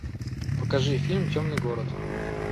покажи фильм темный город